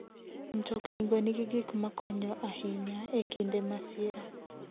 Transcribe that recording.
Mtoknigo nigi gik makonyo ahinya e kinde masira.